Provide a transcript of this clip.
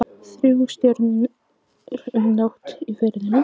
Þrúði stjörnur um nótt í Firðinum.